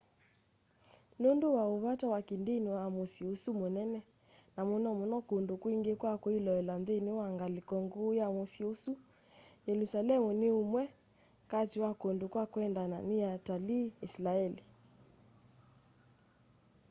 nũndũ wa ũ vata wa kĩ ndĩni wa mũsyĩ ũsu mũnene na mũno mũno kũndũ kwingĩ kwa kwĩloela nthĩnĩ wa ngalĩko ngũũ ya mũsyĩ ũsu yelũsalemu nĩ ĩmwe katĩ wa kũndũ kwa kwendwa nĩ atalii ĩsilaeli